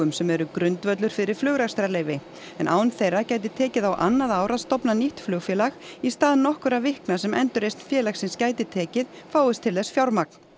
sem eru grundvöllur fyrir flugrekstrarleyfi en án þeirra gæti tekið á annað ár að stofna nýtt flugfélag í stað nokkurra vikna sem endurreisn félagsins gæti tekið fáist til þess fjármagn